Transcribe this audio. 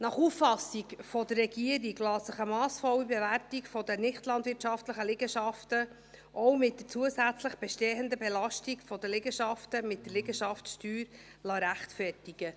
Nach Auffassung der Regierung lässt sich eine massvolle Bewertung der nichtlandwirtschaftlichen Liegenschaften, auch mit zusätzlich bestehender Belastung der Liegenschaften, mit der Liegenschaftssteuer rechtfertigen.